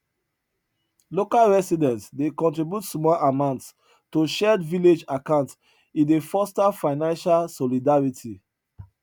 local residents dey contribute small amounts to shared village accounts e dey foster financial solidarity